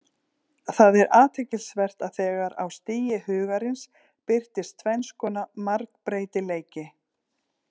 Það er athyglisvert að þegar á stigi Hugarins birtist tvenns konar margbreytileiki.